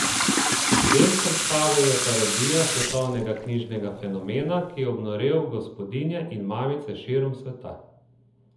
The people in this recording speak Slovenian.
Del predstave je parodija svetovnega knjižnega fenomena, ki je obnorel gospodinje in mamice širom sveta.